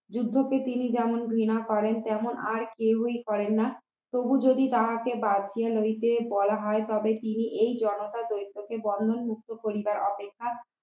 যুদ্ধকে তিনি যেমন ঘৃণা করেন তেমন আর কেউই করেন না তবু যদি তাহাকে বাদ দিয়া লইতে বলা হয় তবে তিনি এই জনতা তন্ত্র কে বন্ধন মুক্ত করিবার অপেক্ষা